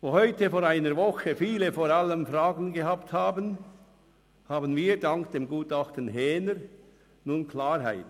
Wo heute vor einer Woche viele vor allem Fragen gehabt haben, haben wir dank dem Gutachten Häner nun Klarheit.